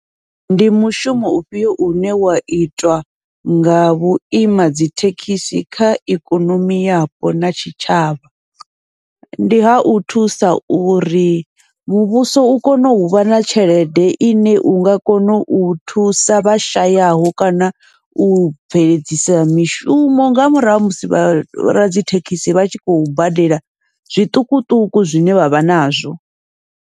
Ndi mushumo u fhiyo une wa itwa nga vhuima dzithekhisi kha ikonomi yapo na tshitshavha, ndi hau thusa uri muvhuso u kone uvha na tshelede ine unga kona u thusa vha shayaho, kana u bveledzisa mishumo nga murahu ha musi vha radzithekhisi vha tshi khou badela zwiṱukuṱuku zwine vha vha nazwo.